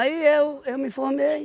eu eu me formei.